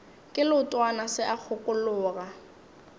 ke leotwana se a kgokologa